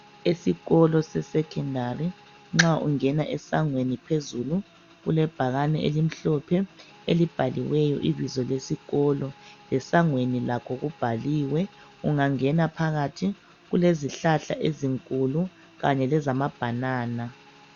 Esikolo sekhondari nxa ungena esangweni phezulu kulebhakani elimhlophe elibhaliweyo ibizo lesikolo, lesangweni lakho kubhaliwe, ungangena phakathi kulezihlahla ezinkulu Kanye lezamabhanana.